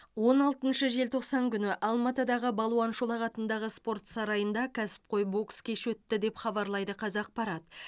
он алтыншы желтоқсан күні алматыдағы балуан шолақ атындағы спорт сарайында кәсіпқой бокс кеші өтті деп хабарлайды қазақпарат